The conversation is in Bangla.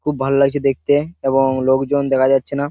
খুব ভাল লাগছে দেখতে এবং লোকজন দেখা যাচ্ছে না।